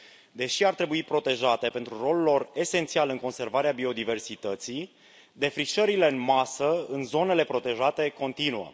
Deși pădurile ar trebui protejate pentru rolul lor esențial în conservarea biodiversității, defrișările în masă în zonele protejate continuă.